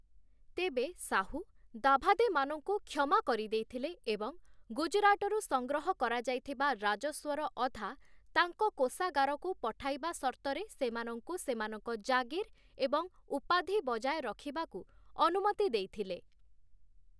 ତେବେ ଶାହୁ, ଦାଭାଦେମାନଙ୍କୁ କ୍ଷମା କରି ଦେଇଥିଲେ ଏବଂ ଗୁଜରାଟରୁ ସଂଗ୍ରହ କରାଯାଇଥିବା ରାଜସ୍ୱର ଅଧା ତାଙ୍କ କୋଷାଗାରକୁ ପଠାଇବା ସର୍ତ୍ତରେ ସେମାନଙ୍କୁ ସେମାନଙ୍କ ଜାଗୀର ଏବଂ ଉପାଧି ବଜାୟ ରଖିବାକୁ ଅନୁମତି ଦେଇଥିଲେ ।